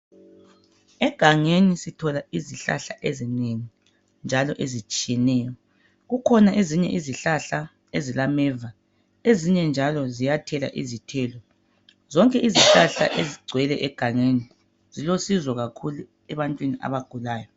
Egangeni sithola izihlahla ezinengi njalo ezitshiyeneyo kukhona ezinye izihlahla ezilameva ezinye njalo ziyathela izithelo zonke izihlahla ezigcwele egangeni zilosizo kakhulu ebantwini abagulayo